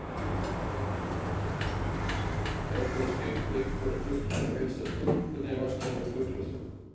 Það gæti þó skipt einhverju að fuglinn á að heilsa stúlkunni, væntanlega með fuglasöng.